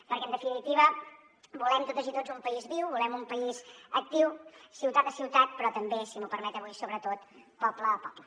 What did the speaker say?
perquè en definitiva volem totes i tots un país viu volem un país actiu ciutat a ciutat però també si m’ho permet avui sobretot poble a poble